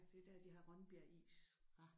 Skive ja det er der de har Rønbjerg is